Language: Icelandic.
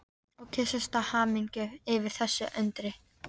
Og kyssast af hamingju yfir þessu undri.